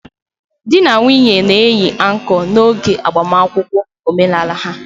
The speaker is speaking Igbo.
Di na nwunye na-eyi anko n'oge agbamakwụkwọ omenala ha.